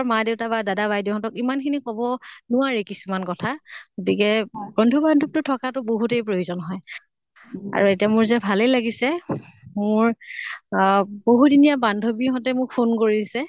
মা দেউতা বা দাদা বাইদেউ হঁতক ইমান খিনি কʼব নোৱাৰি কিছুমান কথা। গতিকে বন্ধু বান্ধৱতো থকাটো বহুতে প্ৰয়োজন হয়। আৰু এতিয়া মোৰ যে ভালে লাগিছে, মোৰ আহ বহু দিনীয়া বান্ধৱী হঁতে মোক phone কৰিছে